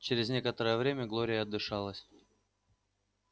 через некоторое время глория отдышалась